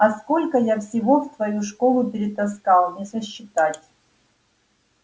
а сколько я всего в твою школу перетаскал не сосчитать